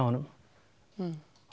honum